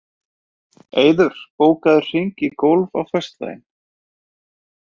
Eiður, bókaðu hring í golf á föstudaginn.